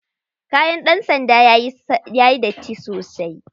Kayan ɗan sanda yayi datti sosai.